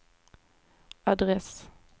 adress